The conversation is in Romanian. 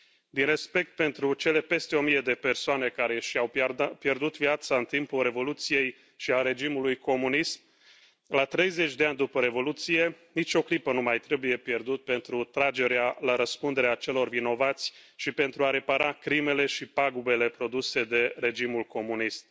Din respect pentru cele peste o mie de persoane care și au pierdut viața în timpul Revoluției și a regimului comunist, la 30 de ani după Revoluție, nicio clipă nu mai trebuie pierdută pentru tragerea la răspundere a celor vinovați și pentru a repara crimele și pagubele produse de regimul comunist.